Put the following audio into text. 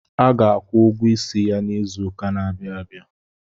A ga-akwụ ụgwọ isi ya izụka n'abia abịa.